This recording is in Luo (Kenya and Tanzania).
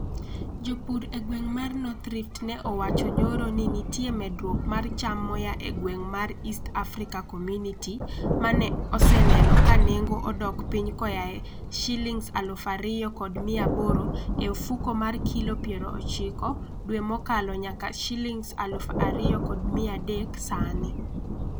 Jopur e gweng' mar North Rift ne owacho nyoro ni nitie medruok mar cham moa e gweng' mar East Africa Community ma ne oseneno ka nengo odok piny koa e Sh2,800 e ofuko mar kilo 90 dwe mokalo nyaka Sh2,300 sani.